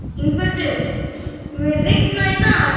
Yngveldur, mun rigna í dag?